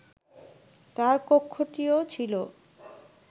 তার কক্ষটিও ছিল